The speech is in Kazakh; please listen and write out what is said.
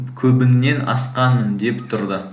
көбіңнен асқанмын деп тұрды